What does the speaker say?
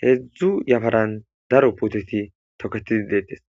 heedzdzu yafaran daro puteti toketidi deettes